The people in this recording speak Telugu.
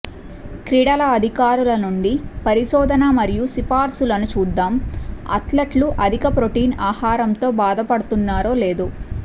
క్రీడల అధికారుల నుండి పరిశోధన మరియు సిఫార్సులను చూద్దాం అథ్లెట్లు అధిక ప్రోటీన్ ఆహారంతో బాధపడుతున్నారో లేదో